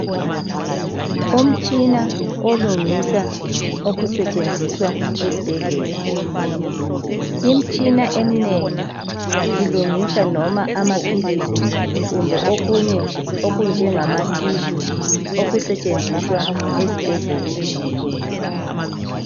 Umtshina olungisa okusetshenziswa esibhedlela. Imitshina eminengi ilungisa loba amaphilisi kumbe okunye okunjengama "tissue" okusetshenziswa esibhedlela.